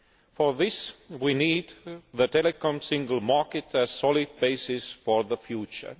For this we need the Telecoms Single Market as a solid basis for the future.